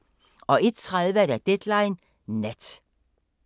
01:30: Deadline Nat